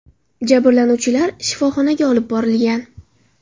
Jabrlanuvchilar shifoxonaga olib borilgan.